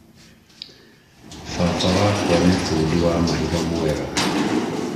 Baba wakwa nĩ bundi wa mahiga mwega